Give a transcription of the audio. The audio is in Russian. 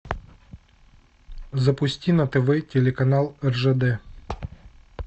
запусти на тв телеканал ржд